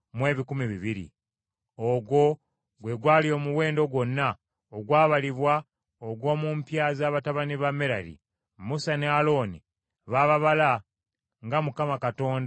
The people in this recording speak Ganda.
Ogwo gwe gwali omuwendo gwonna ogwabalibwa ogw’omu mpya za batabani ba Merali. Musa ne Alooni baababala nga Mukama Katonda bwe yalagira Musa.